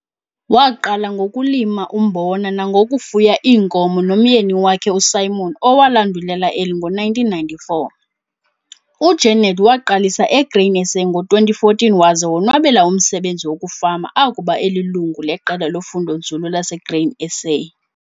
Waqala ngokulima umbona nangokufuya iinkomo nomyeni wakhe uSimon owalandulela eli ngo-1994. UJeneth waqalisa eGrain SA ngo-2014 waze wonwabela umsebenzi wokufama akuba elilungu leqela lofundonzulu laseGrain SA.